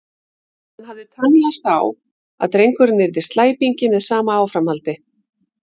Hann hafði tönnlast á að drengurinn yrði slæpingi með sama áframhaldi.